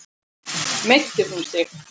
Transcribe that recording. Meiddi hún sig?